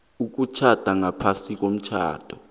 ukutjhada ngaphasi komthetho